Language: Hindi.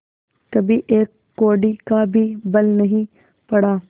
कभी एक कौड़ी का भी बल नहीं पड़ा